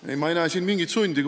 Ei, ma ei näe siin mingit sundi.